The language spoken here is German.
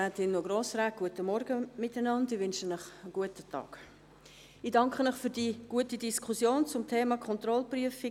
Ich danke Ihnen für die gute Diskussion zum Thema Kontrollprüfung.